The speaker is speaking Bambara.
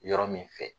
Yɔrɔ min fɛ